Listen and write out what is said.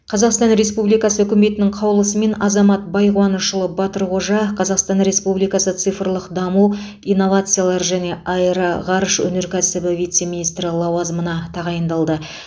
қазақстан республикасы үкіметінің қаулысымен азамат байқуанышұлы батырқожа қазақстан республикасы цифрлық даму инновациялар және аэроғарыш өнеркәсібі вице министрі лауазымына тағайындалды